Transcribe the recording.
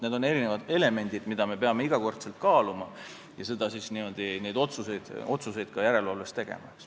Need on erinevad elemendid, mida me peame iga kord kaaluma ja neid otsuseid järelevalves tegema.